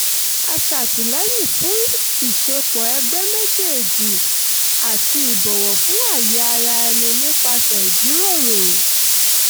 a ṣàtìlẹyìn fún ìṣepọ̀ ẹgbẹ́ méjèèjì àti ìbọ̀wọ̀ fún ààyè ara ẹni nípasẹ̀ ìjíròrò